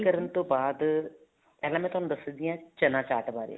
ਕਰਨ ਤੋਂ ਬਾਅਦ ਪਹਿਲਾਂ ਮੈਂ ਤੁਹਾਨੂੰ ਦੱਸਦੀ ਹਾਂ ਚਨਾ ਚਾਰਟ ਬਾਰੇ